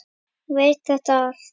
Hún veit þetta allt.